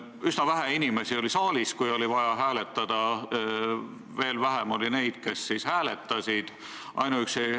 Üsna vähe inimesi oli saalis, kui oli vaja hääletada, veel vähem oli neid, kes hääletasid.